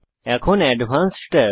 এখন advanced tab